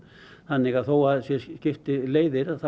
þannig að þó að skilji leiðir